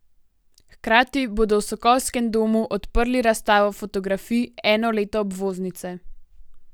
Hkrati bodo v Sokolskem domu odprli razstavo fotografij Eno leto obvoznice.